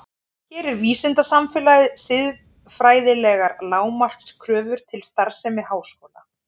Gerir vísindasamfélagið siðfræðilegar lágmarkskröfur til starfsemi háskóla?